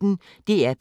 DR P1